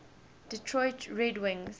detroit red wings